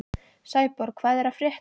Sæborg, hvað er að frétta?